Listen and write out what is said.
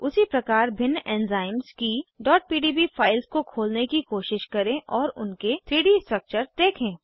उसी प्रकार भिन्न एंजाइम्स की pdb फाइल्स को खोलने की कोशिश करें और उनके 3डी स्ट्रक्चर्स देखें